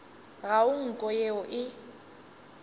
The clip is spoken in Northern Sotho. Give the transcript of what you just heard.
ga go nko yeo e